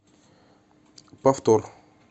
повтор